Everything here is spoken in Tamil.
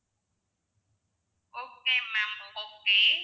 okay ma'am okay